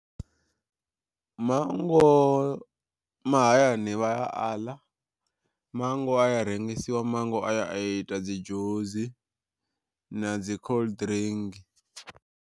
Mango mahayani vha a a ḽa, mango a ya rengisiwa mango a ya a ita dzi dzhusi na dzi khoḽuḓirinki.